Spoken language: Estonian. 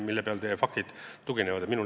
Millele teie väide tugineb?